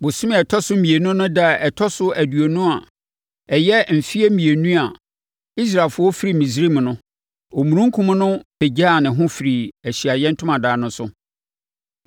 Bosome a ɛtɔ so mmienu no ɛda a ɛtɔ so aduonu no a ɛyɛ mfeɛ mmienu a Israelfoɔ firii Misraim no, omununkum no pagyaa ne ho firii Ahyiaeɛ Ntomadan no so,